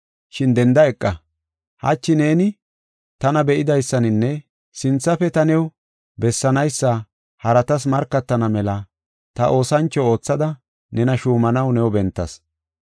shin denda eqa. Hachi neeni tana be7idaysaninne sinthafe ta new bessanaysa haratas markatana mela ta oosancho oothada nena shuumanaw new bentas.